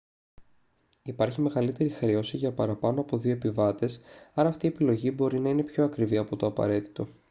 υπάρχει μεγαλύτερη χρέωση για παραπάνω από 2 επιβάτες άρα αυτή η επιλογή μπορεί να είναι πιο ακριβή από το απαραίτητο